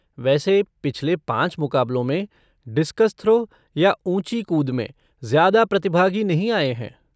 वैसे, पिछले पाँच मुकाबलों में डिस्कस थ्रो या ऊँची कूद में ज्यादा प्रतिभागी नहीं आए हैं।